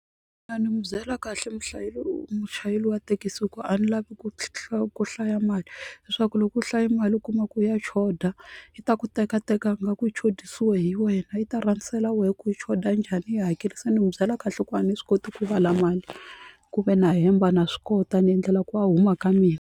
ni mu byela kahle muchayeri wa thekisi ku a ni lavi ku ku hlaya mali leswaku loko u hlayi mali u kuma ku ya choda i ta ku teka teka ingaku yi xotisiwe hi wena i ta rhasela wehe ku yi xota njhani yi hakerise ni n'wi byela kahle ku a ni swi koti ku vala mali kumbe na hemba na swi kota ni endlela ku a huma ka mina.